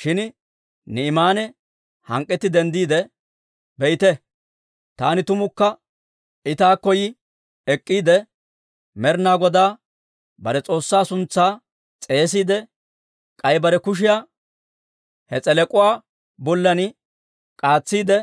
Shin Ni'imaane hank'k'etti denddiide, «Be'ite, taani, tumukka I taakko yi ek'k'iide, Med'ina Godaa bare S'oossaa suntsaa s'eesiide, k'ay bare kushiyaa he s'elek'uwaa bollan k'aatsiide,